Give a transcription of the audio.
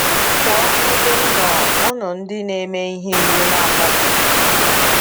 Pụọ n’ebe m nọ, unu ndị na-eme ihe iwu na-akwadoghị.”